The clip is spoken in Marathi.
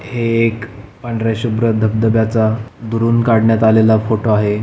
हे एक पांढर्‍या शुभ्र धबधब्याचा दुरून काढण्यात आलेला फोटो आहे.